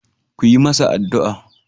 Ku yi masa addu'a.